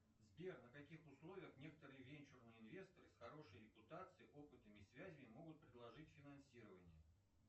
сбер на каких условиях некоторые венчурные инвесторы с хорошей репутацией опытом и связями могут предложить финансирование